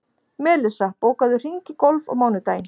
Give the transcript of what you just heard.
Melissa, bókaðu hring í golf á mánudaginn.